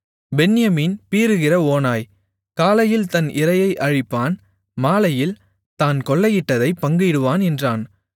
பென்யமீன் பீறுகிற ஓநாய் காலையில் தன் இரையை அழிப்பான் மாலையில் தான் கொள்ளையிட்டதைப் பங்கிடுவான் என்றான்